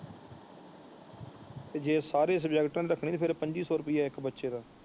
ਜੇ ਸਾਰੇ ਸੁਬਜੇਕ੍ਟ ਰੱਖਣੇ ਹੈ ਫੇਰ ਪੰਜੀ ਸੋ ਰੁਪਈਆ ਇੱਕ ਬੱਚੇ ਦਾ।